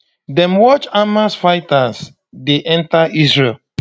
dem watch hamas fighters dey enta israel